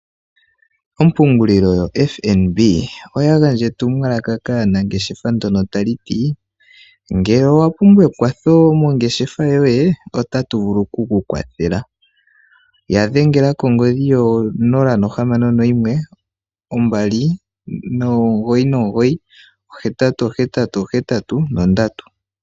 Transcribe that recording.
Ompungulilo yoFnb oya gandja etumwalaka kaanangeshefa ndono tali ti ngele owapumbwa ekwatho mongeshefa yoye otatu vulu oku kukwathela. Yadhengela kongodhi yo0612998883.